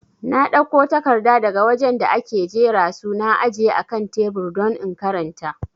Na dauko takarda daga wajen da ake jera su na aje akan tebur don in karanta